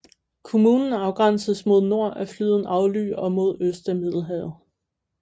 Kommunen afgrænses mod nord af floden Agly og mod øst af Middelhavet